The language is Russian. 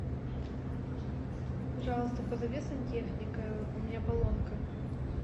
пожалуйста позови сантехника у меня поломка